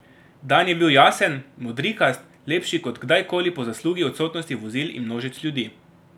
Dan je bil jasen, modrikast, lepši kot kdajkoli po zaslugi odsotnosti vozil in množic ljudi.